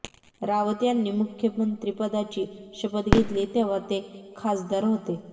रावत यांनी मुख्यमंत्रीपदाची शपथ घेतली तेव्हा ते खासदार होते